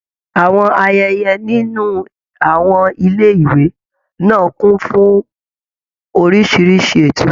Àwọn ayẹyẹ nínú àwọn ilé ìwé náà kún fún oríṣiríṣi ètò.